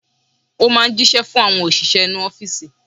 Ó máa ń jíṣẹ́ fún àwọn òṣìṣẹ́ inú ọ́fìsì.